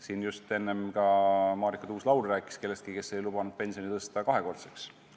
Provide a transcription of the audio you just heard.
Siin just ka Marika Tuus-Laul rääkis kellestki, kes oli lubanud pensioni tõsta kahekordseks.